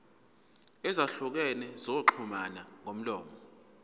ezahlukene zokuxhumana ngomlomo